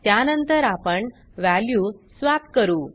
त्यानंतर आपण value swap करू